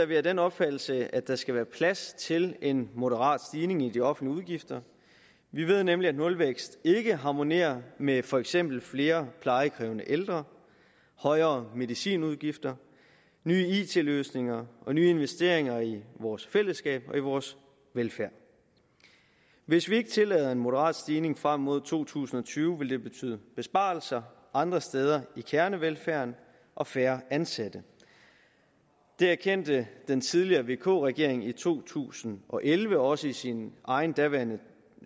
vi af den opfattelse at der skal være plads til en moderat stigning i de offentlige udgifter vi ved nemlig at nulvækst ikke harmonerer med for eksempel flere plejekrævende ældre højere medicinudgifter nye it løsninger og nye investeringer i vores fællesskab og i vores velfærd hvis vi ikke tillader en moderat stigning frem mod to tusind og tyve vil det betyde besparelser andre steder i kernevelfærden og færre ansatte det erkendte den tidligere vk regering i to tusind og elleve også i sin egen daværende